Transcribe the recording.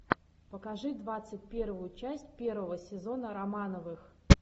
покажи двадцать первую часть первого сезона романовых